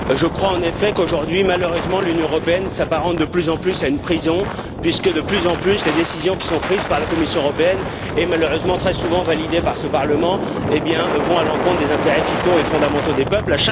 Je crois en effet qu'aujourd'hui, malheureusement, l'Union européenne s'apparente de plus en plus à une prison puisque, de plus en plus, les décisions qui sont prises par la Commission européenne puis malheureusement très souvent validées par ce Parlement vont à l'encontre des intérêts vitaux et fondamentaux des peuples.